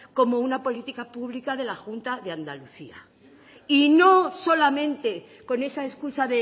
como una política pública de la junta de andalucía y no solamente con esa excusa